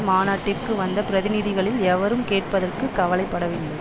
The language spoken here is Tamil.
மாநாட்டிற்கு வந்த பிரதிநிதிகளில் எவரும் கேட்பதற்கு கவலை படவில்லை